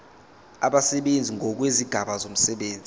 abasebenzi ngokwezigaba zomsebenzi